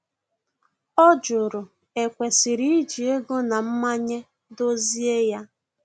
Ọ jụrụ e kwesịrị iji ego na mmanye dozie ya